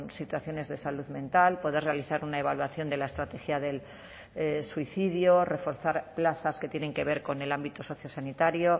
situaciones de salud mental poder realizar una evaluación de la estrategia del suicidio reforzar plazas que tienen que ver con el ámbito sociosanitario